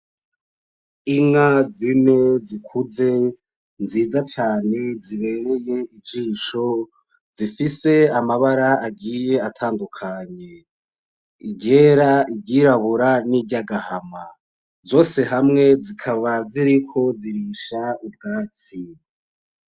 Inka zine zikuze nziza cane zibereye ijisho zifise amabara agiye atandukanye, iryera, iryirabura n'iryagahama zose hamwe zikaba ziriko zirisha ubwatsi.